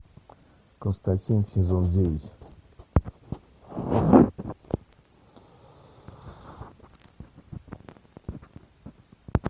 константин сезон девять